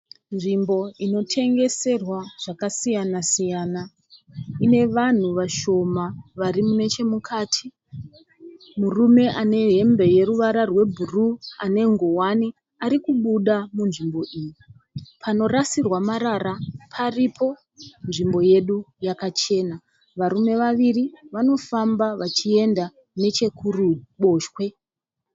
Nzvimbo unotengeserwa zvakasiyana siyana. Ine vanhu vashoma vari nechemukati. Murume ane hembe yeruvara rwebhuruu ane ngowani ari kubuda panzvimbi iyi. Panorasirwa marara paripo. Nzvimbo yedu yakachena. Varume vaviri vanofamba vachienda nechekuruboshwe.